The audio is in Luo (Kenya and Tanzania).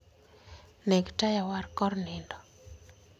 Neg taya war kor nindo.